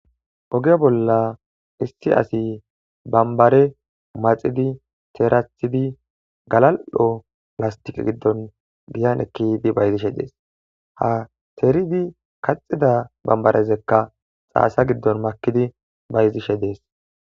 Oge bolla issi asi bambare maxidi teerathidi galal7o lastiqe giddon giyan ekkidi bayzishe dees. Ha teeridi kaxida bambarezekka xaasa giddon makidi bayzishe dees.